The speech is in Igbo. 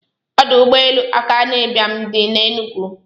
Odụ ụgbọ elu akanu ibiam di n'enugu.